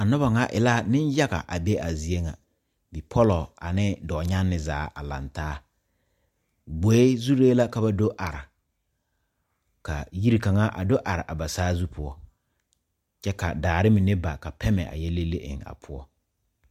A noba ŋa e la nenyaga a be a zie ŋa bipɔla ane dɔɔnyaŋne zaa a laŋ taa gboe zuri la ka ba do are ka yori kaŋa a do are a ba saazu poɔ ka daare mine ba ka pɛmɛ a yɛ le le eŋ a poɔ.